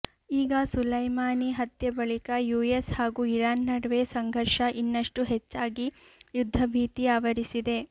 ಈಗ ಸುಲೈಮಾನಿ ಹತ್ಯೆ ಬಳಿಕ ಯುಎಸ್ ಹಾಗೂ ಇರಾನ್ ನಡುವೆ ಸಂಘರ್ಷ ಇನ್ನಷ್ಟು ಹೆಚ್ಚಾಗಿ ಯುದ್ಧ ಭೀತಿ ಆವರಿಸಿದೆ